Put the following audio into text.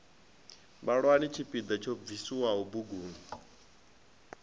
vhalani tshipiḓa tsho bviswaho buguni